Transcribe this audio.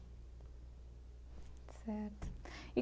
Certo e.